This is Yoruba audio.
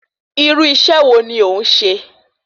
Irú iṣẹ́ wo ni òún se?